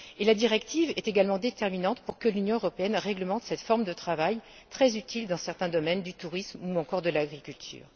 La directive est également déterminante pour que l'Union européenne réglemente cette forme de travail très utile dans certains domaines du tourisme ou encore de l'agriculture.